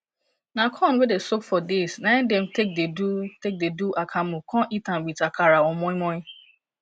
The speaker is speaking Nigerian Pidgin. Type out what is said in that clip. na corn wey dey soak for days na im dey take dey do take dey do akamu con eat am with akara or moinmoin